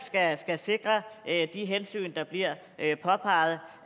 skal sikre at der de hensyn der bliver påpeget